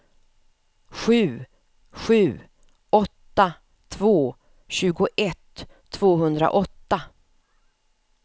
sju sju åtta två tjugoett tvåhundraåtta